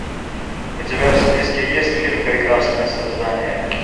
у тебя в списке есть фильм прекрасные создания